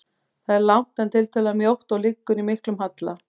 Það er langt, en tiltölulega mjótt og liggur í miklum halla.